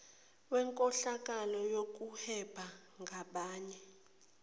wenkohlakalo yokuhweba ngabanye